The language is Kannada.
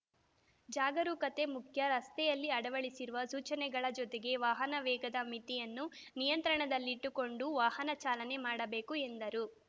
ಜಾಗರೂಕತೆ ಮುಖ್ಯ ರಸ್ತೆಯಲ್ಲಿ ಅಳವಡಿಸಿರುವ ಸೂಚನೆಗಳ ಜೊತೆಗೆ ವಾಹನ ವೇಗದ ಮಿತಿಯನ್ನು ನಿಯಂತ್ರಣದಲ್ಲಿಟ್ಟುಕೊಂಡು ವಾಹನ ಚಾಲನೆ ಮಾಡಬೇಕು ಎಂದರು